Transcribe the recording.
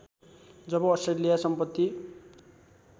जब Australia सम्पत्ति